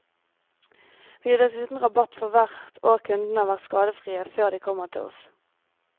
Vi gir dessuten rabatt for hvert år kundene har vært skadefrie før de kommer til oss.